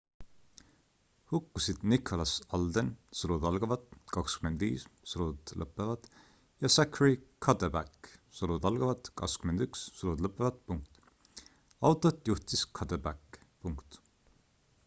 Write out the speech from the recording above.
hukkusid nicholas alden 25 ja zachary cuddeback 21. autot juhtis cuddeback